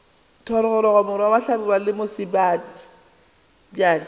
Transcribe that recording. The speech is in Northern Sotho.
thogorogo morwa hlabirwa le mosebjadi